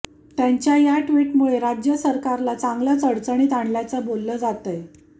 त्यांच्या या ट्विटमुळे राज्य सरकारला चांगलंच अडचणीत आणल्याचं बोललं जातंय